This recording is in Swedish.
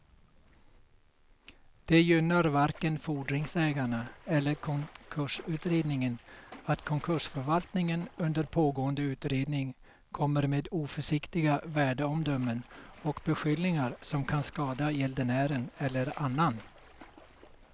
Det gynnar varken fordringsägarna eller konkursutredningen att konkursförvaltningen under pågående utredning kommer med oförsiktiga värdeomdömen och beskyllningar som kan skada gäldenären eller annan.